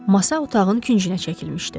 Masa otağın küncünə çəkilmişdi.